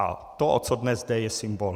A to, o co dnes jde, je symbol.